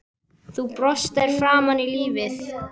Þú brostir framan í lífið.